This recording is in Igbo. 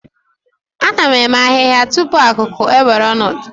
A na-eme ahihia tupu akuku ewere ọnọdụ.